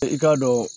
I k'a dɔn